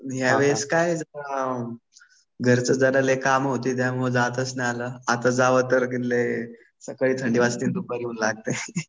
ह्या वेळेस काय घरचे जरा लई काम होते. मग जाताच नाही आलं. आता जावं तर सकाळी थंडी वाजती दुपारी ऊन लागतंय.